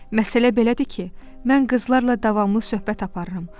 Məsələ belədir ki, mən qızlarla davamlı söhbət aparıram.